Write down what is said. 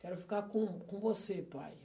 Quero ficar com com você, pai.